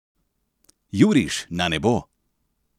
Juriš na nebo!